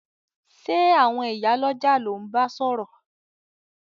Sé àwon ìyá lójà lo n ba sòrò